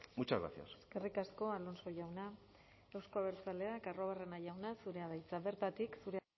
muchas gracias eskerrik asko alonso jauna euzko abertzaleak arruabarrena jauna zurea da hitza bertatik zure